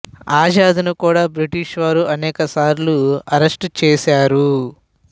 ఆజాద్ ను కూడా బ్రిటిష్ వారు అనేకసార్లు అరెస్టు చేశారు